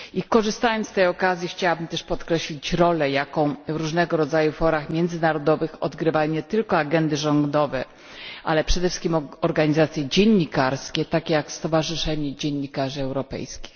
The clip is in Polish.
Korzystając z tej okazji, chciałam też podkreślić rolę, jaką w różnego rodzaju forach międzynarodowych odgrywają nie tylko agendy rządowe, ale przede wszystkim organizacje dziennikarskie, takie jak Stowarzyszenie Dziennikarzy Europejskich.